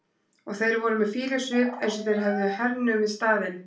Og þeir voru með fýlusvip eins og þeir hefðu hernumið staðinn.